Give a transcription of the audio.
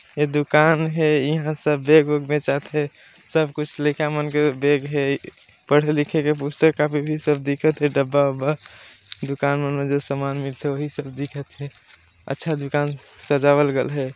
ये दुकान हे यहाँ सब बैग वेग बेचात हे। सब कुछ लइका मन के बैग हे पढ़े लिखे के पुस्तक कॉपी भी सब दिखत हे डब्बा वब्बा दुकान मन मे जो सामान मिलत थे है वही सब दीखेत है अच्छा दुकान सजावल गईल है।